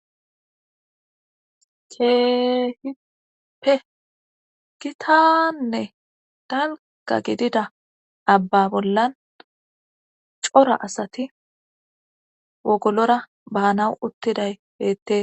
keehiippe gitaannee dangga gidida abba bollan cora asati wogolora baanaw uttiday beette.